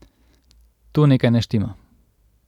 Tu nekaj ne štima.